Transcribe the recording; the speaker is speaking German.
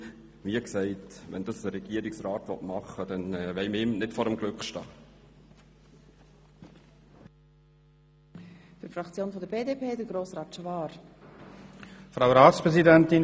Wenn der Regierungsrat das machen will, wollen wir ihm nicht vor dem Glück stehen.